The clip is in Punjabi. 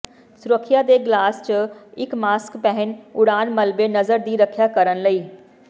ਸੁਰੱਖਿਆ ਦੇ ਗਲਾਸ ਜ ਇੱਕ ਮਾਸਕ ਪਹਿਨ ਉਡਾਣ ਮਲਬੇ ਨਜ਼ਰ ਦੀ ਰੱਖਿਆ ਕਰਨ ਲਈ